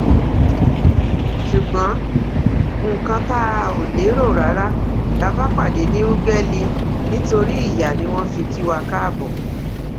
ṣùgbọn nǹkan tá ò lérò rárá la bá pàdé ní ùgbẹlì nítorí ìyá ni wọn fi kí wa káàbọ